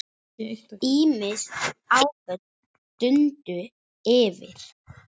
Ýmis áföll dundu yfir.